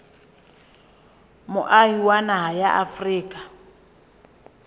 moahi wa naha ya afrika